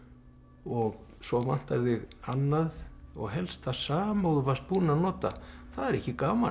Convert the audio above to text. og svo vantar þig annað og helst það sama og þú varst búinn að nota það er ekki gaman